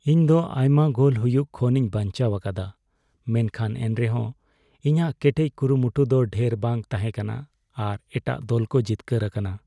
ᱤᱧ ᱫᱚ ᱟᱭᱢᱟ ᱜᱳᱞ ᱦᱩᱭᱩᱜ ᱠᱷᱚᱱᱤᱧ ᱵᱟᱧᱪᱟᱣ ᱟᱠᱟᱫᱟ ᱢᱮᱱᱠᱷᱟᱱ ᱮᱱᱨᱮᱦᱚᱸ, ᱤᱧᱟᱜ ᱠᱮᱴᱮᱡ ᱠᱩᱨᱩᱢᱩᱴᱩ ᱫᱚ ᱰᱷᱮᱨ ᱵᱟᱝ ᱛᱟᱦᱮᱠᱟᱱᱟ ᱟᱨ ᱮᱴᱟᱜ ᱫᱚᱞ ᱠᱚ ᱡᱤᱛᱠᱟᱹᱨ ᱟᱠᱟᱱᱟ ᱾